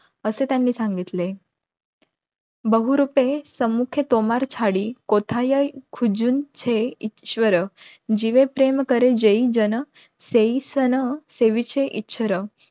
असं त्यांनी सांगितले,